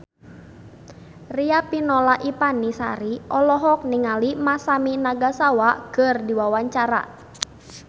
Riafinola Ifani Sari olohok ningali Masami Nagasawa keur diwawancara